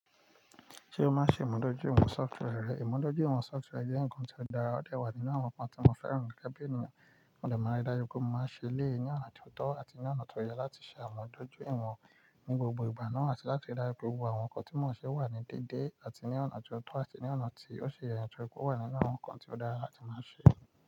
Ṣé o máa ń ṣe ìmúdójúìwọ̀n software rẹ? Ìmúdójúìwọ̀n software jẹ́ ǹkan tó dára, ó dà wà nínú àwọn ǹkan tí mo fẹ́ràn ní gẹ́gẹ́ bí ènìyàn. Mo dẹ̀ mọ́ ara dá yí pé mo máa ń ṣe léè ní ọ̀nà tó tọ́ àti ní ọ̀nà tó yẹ láti ṣe ìmúdójúìwọ̀n ní gbogbo ìgbà náà, àti láti dára pé gbogbo àwọn ǹkan tí mò ń ṣe wà ní déédéé àti ní ọ̀nà tó tọ́ àti ní ọ̀nà tí ó ṣe ìrẹ̀nsẹ̀ pé ó wà nínú àwọn ǹkan tí ó dára tí màá ṣe.